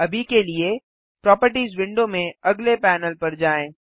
अभी के लिए प्रोपर्टिज विंडो में अगले पैनल पर जाएँ